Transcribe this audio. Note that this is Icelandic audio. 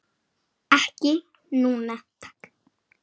Ekki núna, takk.